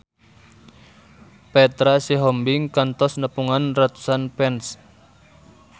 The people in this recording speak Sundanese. Petra Sihombing kantos nepungan ratusan fans